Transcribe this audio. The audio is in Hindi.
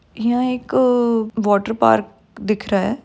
यह एक वाटरपार्क दिख रहा है।